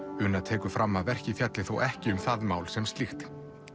una tekur fram að verkið fjalli þó ekki um það mál sem slíkt